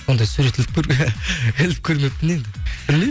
ондай сурет іліп көрмеппін енді білмеймін